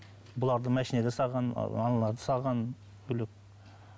бұларды машинаға салған аналарды салған бөлек